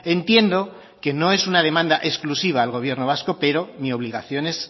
entiendo que no es una demanda exclusiva al gobierno vasco pero mi obligación es